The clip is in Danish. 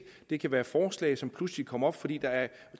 det kan være forslag som pludselig kommer op fordi der er